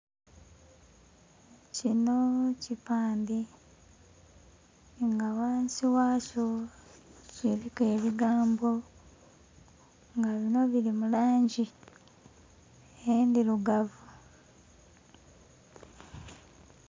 Kinho kipandhe nga ghansi ghakyo kiliku ebigambo nga binho bili mulangi endhirugavu.